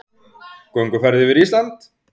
Gönguferð yfir Ísland